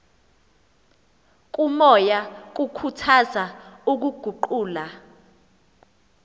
komoya kukhuthaza ukuguqula